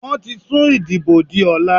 Wọ́n ti sùn ìdìbò di ọ̀la.